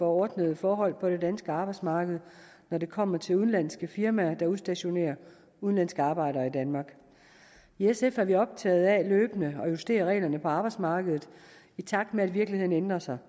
ordnede forhold på det danske arbejdsmarked når det kommer til udenlandske firmaer der udstationerer udenlandske arbejdere i danmark i sf er vi optaget af løbende at justere reglerne på arbejdsmarkedet i takt med at virkeligheden ændrer sig